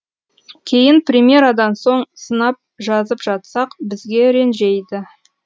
кейін премьерадан соң сынап жазып жатсақ бізге ренжейді